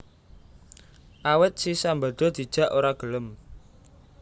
Awit si Sambada dijak ora gelem